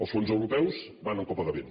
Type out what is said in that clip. els fons europeus van en copagament